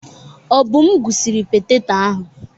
Obum gwụsiri petetọ ahụ.